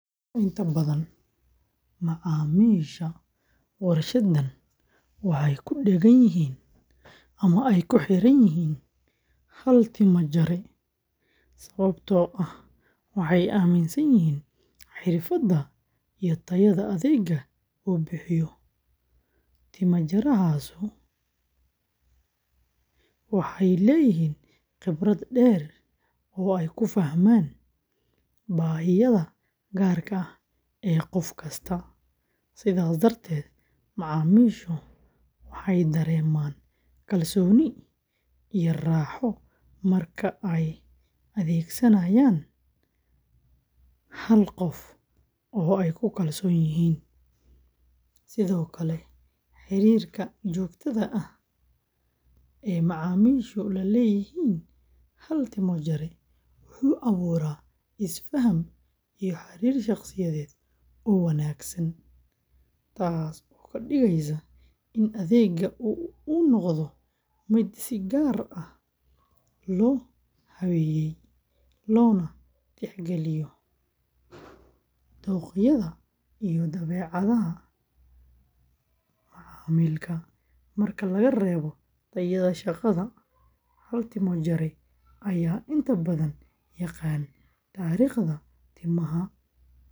Inta badan macaamiisha warshadan waxay ku dheggan yihiin hal timo-jare sababtoo ah waxay aaminsan yihiin xirfadda iyo tayada adeegga uu bixiyo. Timo-jareyaashu waxay leeyihiin khibrad dheer oo ay ku fahmaan baahiyaha gaarka ah ee qof kasta, sidaas darteed macaamiishu waxay dareemaan kalsooni iyo raaxo marka ay adeegsanayaan hal qof oo ay ku kalsoon yihiin. Sidoo kale, xiriirka joogtada ah ee macaamiishu la leeyihiin hal timo-jare wuxuu abuuraa isfaham iyo xiriir shaqsiyeed oo wanaagsan, taas oo ka dhigaysa in adeegga uu noqdo mid si gaar ah loo habeeyay, loona tixgeliyo dookhyada iyo dabeecadaha macaamilka. Marka laga reebo tayada shaqada, hal timo-jare ayaa inta badan yaqaan taariikhda timaha.